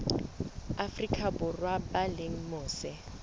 afrika borwa ba leng mose